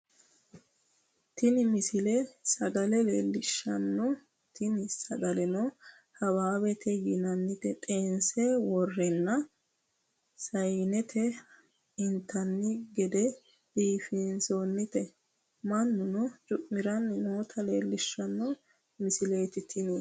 tini misile sagale leellishshanno tini sagaleno hawaawete yinannita xeense worreenna sayyinete intanni geded biifinsoonita mannuno cu'miranni noota leellishshano misileeti tini